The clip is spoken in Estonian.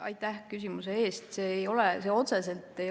Aitäh küsimuse eest!